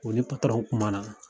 O ni kumana.